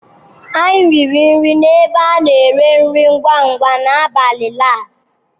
Anyị riri nri n'ebe a na-ere nri ngwa ngwa n'abalị Lass.